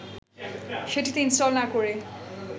সেটিতে ইনস্টল না করে